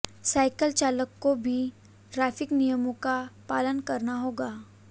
cycle चालक को भी ट्रैफिक नियमों का पालन करना होगा